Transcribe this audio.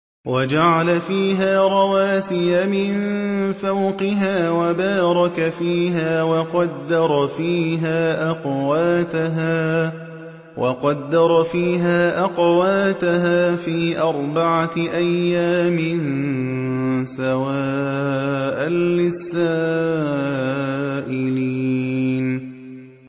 وَجَعَلَ فِيهَا رَوَاسِيَ مِن فَوْقِهَا وَبَارَكَ فِيهَا وَقَدَّرَ فِيهَا أَقْوَاتَهَا فِي أَرْبَعَةِ أَيَّامٍ سَوَاءً لِّلسَّائِلِينَ